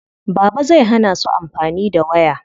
Baba zai hana su amfani da waya.